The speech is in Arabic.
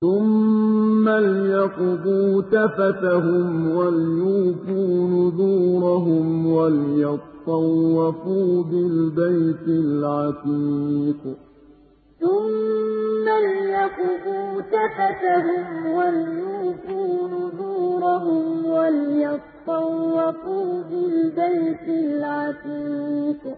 ثُمَّ لْيَقْضُوا تَفَثَهُمْ وَلْيُوفُوا نُذُورَهُمْ وَلْيَطَّوَّفُوا بِالْبَيْتِ الْعَتِيقِ ثُمَّ لْيَقْضُوا تَفَثَهُمْ وَلْيُوفُوا نُذُورَهُمْ وَلْيَطَّوَّفُوا بِالْبَيْتِ الْعَتِيقِ